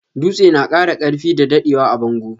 Dutse na kara karfi da daddewa a bango.